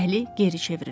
Əli geri çevrildi.